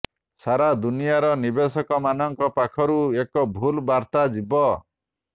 ସାରା ଦୁନିଆର ନିବେଶକମାନଙ୍କ ପାଖକୁ ଏକ ଭୁଲ ବାର୍ତ୍ତା ଯିବ